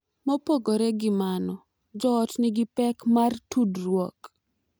Mopogore gi mano, joot ma nigi pek mar tudruok .